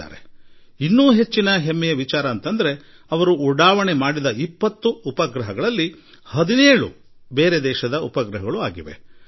ಮತ್ತು ಮತ್ತೊಂದು ಸಂತಸದ ಸಂಗತಿ ಎಂದರೆ ಈ ಹಾರಿ ಬಿಡಲಾದ 20 ಉಪಗ್ರಹಗಳ ಪೈಕಿ 17 ಉಪಗ್ರಹಗಳು ಅನ್ಯ ದೇಶಗಳದಾಗಿವೆ